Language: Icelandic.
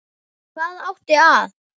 Hvað átti að